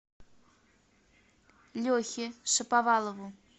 лехе шаповалову